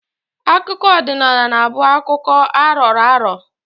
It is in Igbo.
Akụkọ ọdịnala na-abụ akụkọ a rọrọ arọ